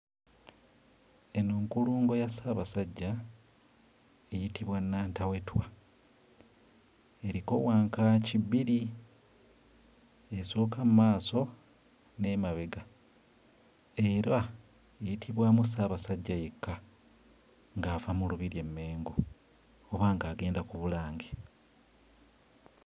Eno nkulungo ya Ssabasajja eyitibwa Nnantawetwa, eriko wankaaki bbiri, esooka mmaaso n'emabega era eyitibwamu Ssaabasajja yekka ng'ava mu lubiri e Mmengo oba ng'agenda ku Bulange.